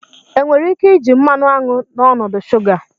Enwere ike iji mmanụ aṅụ n'ọnọdụ shuga?